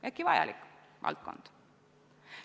Ehkki vajalik valdkond on see alati.